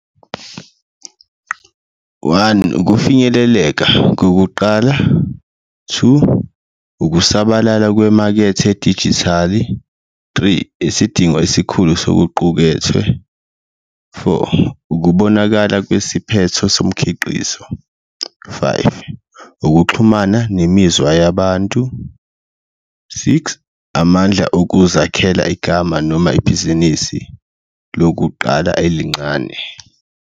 One ukufinyeleleka kokuqala, two, ukusabalala kwemakethe edijithali, three, isidingo esikhulu sokuqukethwe, four, ukubonakala kwesiphetho somkhiqizo, five, ukuxhumana nemizwa yabantu, six, amandla okuzakhela igama noma ibhizinisi lokuqala elincane.